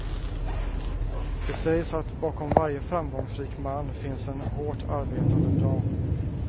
Det sägs att bakom varje framgångsrik man finns en hårt arbetande dam.